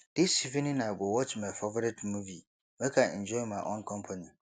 dis evening i go watch my favorite movie make i enjoy my own company